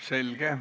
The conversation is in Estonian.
Selge.